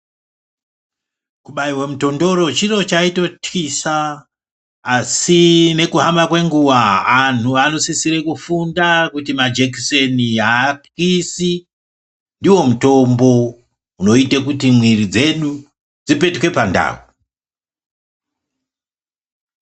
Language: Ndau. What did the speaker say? Kubaiwe mutondoro chiro chaitotyisa asi nekuhamba kwenguva antu anosisire kufunda kuti majekiseni, aatyisi ndiwo mutombo unoite kuti mwiri dzedu dzipetuke pandau.